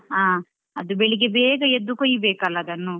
ಆ ಅದು ಬೆಳಿಗ್ಗೆ ಬೇಗ ಎದ್ದು ಕೊಯ್ಯಬೇಕಲ್ಲ ಅದನ್ನು.